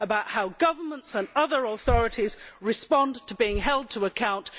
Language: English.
about how governments and other authorities respond to being held to account.